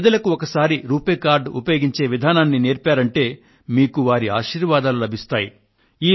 పేదలకు ఒకసారి రూపే కార్డ్ ఉపయోగించే విధానాన్ని నేర్పారంటే వారి ఆశీర్వాదాలు మీకు లభిస్తాయి